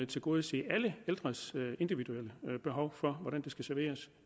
tilgodese alle ældres individuelle behov for hvordan der skal serveres